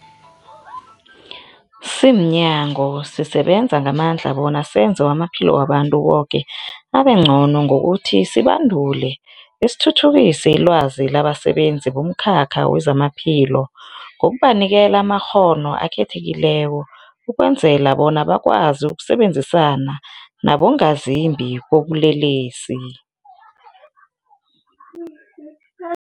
Simnyango, sisebenza ngamandla bona senze amaphilo wabantu boke abengcono ngokuthi sibandule besithuthukise ilwazi labasebenzi bomkhakha wezamaphilo ngokubanikela amakghono akhethekileko ukwenzela bona bakwazi ukusebenzisana nabongazimbi bobulelesi.